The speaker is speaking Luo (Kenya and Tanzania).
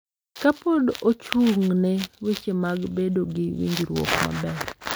Ka pod ochung’ ne weche mag bedo gi winjruok maber.